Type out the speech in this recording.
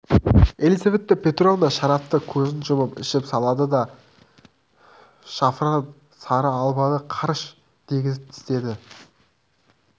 елизавета петровна шарапты көзін жұмып ішіп салды да шафран сары алманы қарш дегізіп тістеді